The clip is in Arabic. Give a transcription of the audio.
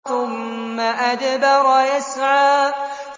ثُمَّ أَدْبَرَ يَسْعَىٰ